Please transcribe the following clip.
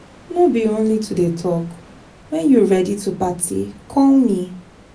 No be only to dey talk, wen you ready to party call me.